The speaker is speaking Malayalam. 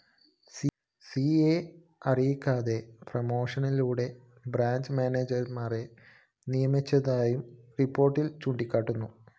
സിയെ അറിയിക്കാതെ പ്രമോഷനിലൂടെയും ബ്രാഞ്ച്‌ മാനേജര്‍മാരെ നിയമിച്ചതായും റിപ്പോര്‍ട്ടില്‍ ചൂണ്ടിക്കാട്ടുന്നു